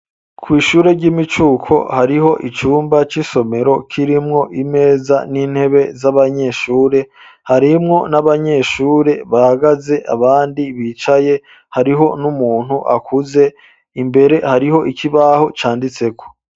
Kw'ishure ry'imicuko hariho icumba c'isomero kirimwo imeza n'intebe z'abanyeshure, harimwo n'abanyeshure bahagaze abandi bicaye, hariho n'umuntu akuze imbere hariho ikibaho canditseko.